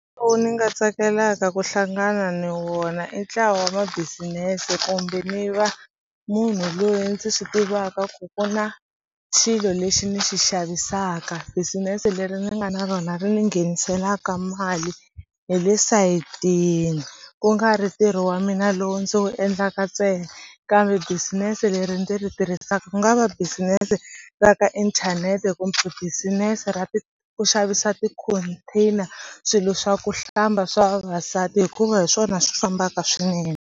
ni nga tsakelaka ku hlangana ni wona i ntlawa wa business kumbe ni va munhu loyi ndzi swi tivaka ku ku na xilo lexi ni xi xavisaka business leri ni nga na rona ri ni ngheniselaka mali hi le sayitini ku nga ri ntirho wa mina lowu ndzi wu endlaka ntsena kambe business leri ndzi ri tirhisaka ku nga va business ra ka inthanete kumbe business ra ku xavisa ti-container swilo swa ku hlamba swa vavasati hikuva hi swona swi fambaka swinene.